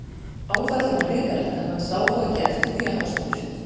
Áfallið var hrikalegt, en hann sá þó ekki eftir því að hafa spurt.